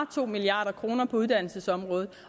to milliard kroner på uddannelsesområdet